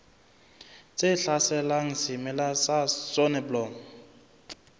tse hlaselang semela sa soneblomo